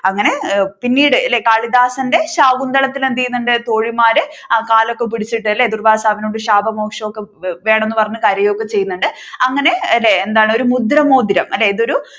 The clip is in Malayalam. അങ്ങനെ പിന്നീട് കാളിദാസന്റെ ശാകുന്തളത്തിൽ എന്ത് ചെയ്യുന്നുണ്ട് തോഴിമാർ കാൽ ഒക്കെ പിടിച്ചിട്ടു അല്ലെ ദുർവ്വാസാവിനോട് ശാപമോക്ഷം ഒക്കെ വേണമെന്ന് പറഞ്ഞു കരയുക ഒക്കെ ചെയ്യുന്നുണ്ട് അങ്ങനെ അല്ലെ ഒരു മുദ്രമോതിരം അല്ലെ ഇത് ഒരു